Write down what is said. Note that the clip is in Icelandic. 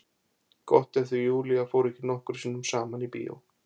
Gott ef þau Júlía fóru ekki nokkrum sinnum saman í bíó.